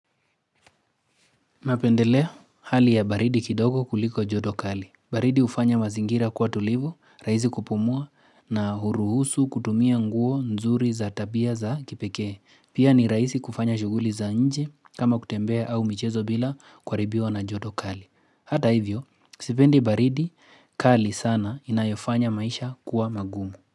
Napendelea hali ya baridi kidogo kuliko joto kali. Baridi hufanya mazingira kuwa tulivu, rahisi kupumua na huruhusu kutumia nguo nzuri za tabia za kipekee. Pia ni rahisi kufanya shughuli za nje kama kutembea au michezo bila kuharibiwa na joto kali. Hata hivyo, sipendi baridi kali sana inayofanya maisha kuwa magumu.